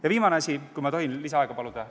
Ja viimane asi, kui ma tohin lisaaega paluda ...